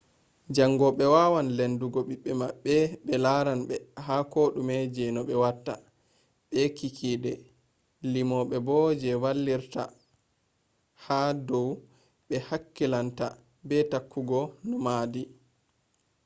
jangobe wawan lendugo bibbe mabbe be laranbe ha kodume je no be watta. be kikkide limobe je vallitirta ha dou be hakkilinta, be tokkugo no hahdi